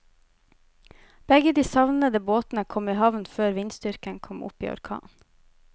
Begge de savnede båtene kom i havn før vindstyrken kom opp i orkan.